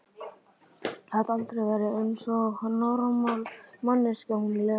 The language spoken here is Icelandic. Gat aldrei verið eins og normal manneskja, hún Lena!